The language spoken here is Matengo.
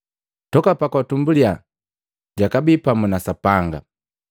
Toka pu utumbuli jakabii pamu na Sapanga.